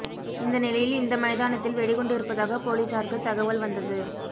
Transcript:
இந்த நிலையில் இந்த மைதானத்தில் வெடிகுண்டு இருப்பதாக போலீஸாருக்குத் தகவல் வந்தது